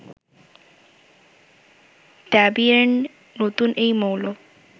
দ্যবিয়ের্ন, নতুন এই মৌল